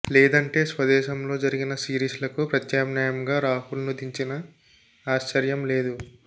లేదంటే స్వదేశంలో జరిగే సిరీస్లకు ప్రత్యామ్నాయంగా రాహుల్ను దించినా ఆశ్చర్యం లేదు